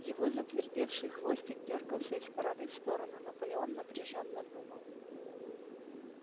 его затвердевший хвостик дёргался из стороны в сторону наполеон напряжённо думал